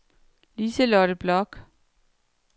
Lise-Lotte Bloch